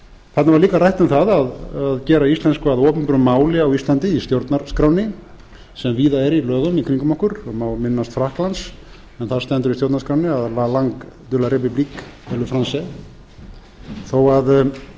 þarna var líka rætt um það að gera íslensku að opinberu máli á íslandi í stjórnarskránni sem víða er í lögum í kringum okkur og má minnast frakklands en þar stendur í stjórnarskránni að la langue de la république est le français þó að